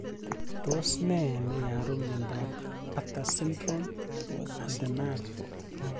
Tos ne neiaru miondop Bartter Syndrom antenal